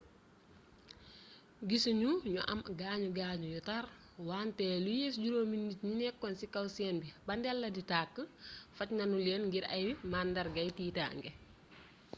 guisuñu ñu am ay gaañu gaañu yu tarr wante lu yées juróomi nit ñu nekkoon ci kaw sen bi ba ndel la di tàkk faj nanu leen ngir ay màndargayi tiitange